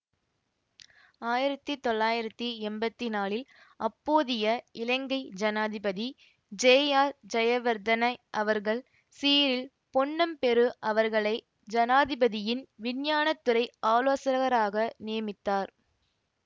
ஆயிரத்தி தொள்ளாயிரத்தி எம்பத்தி நாலில் அப்போதைய இலங்கை ஜனாதிபதி ஜேஆர்ஜயவர்தன அவர்கள் சீறில் பொன்னம்பெரு அவர்களை ஜனாதிபதியின் விஞ்ஞானத்துறை ஆலோசகராக நியமித்தார்